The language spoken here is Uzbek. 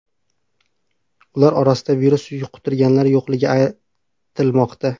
Ular orasida virus yuqtirganlar yo‘qligi aytilmoqda.